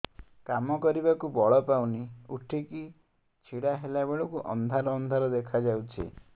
କାମ କରିବାକୁ ବଳ ପାଉନି ଉଠିକି ଛିଡା ହେଲା ବେଳକୁ ଅନ୍ଧାର ଅନ୍ଧାର ଦେଖା ଯାଉଛି